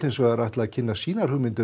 ætla að kynna sínar hugmyndir